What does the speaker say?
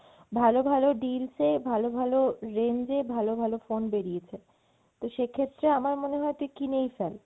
ভালো ভালো deals এ ভালো ভালো range এ phone বেরিয়েছে, তো সেক্ষেত্রে আমার মনে হয় তুই কিনেই ফেল।